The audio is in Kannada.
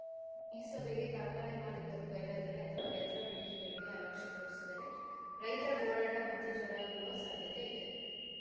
ಈ ಸಭೆಗೆ ಕಾರ್ಖಾನೆ ಮಾಲೀಕರು ಗೈರಾದರೆ ಅಥವಾ ರೈತರ ಬೇಡಿಕೆಗಳಿಗೆ ಅಲಕ್ಷ್ಯ ತೋರಿದರೆ ರೈತರ ಹೋರಾಟ ಮತ್ತೆ ಜೋರಾಗುವ ಸಾಧ್ಯತೆ ಇದೆ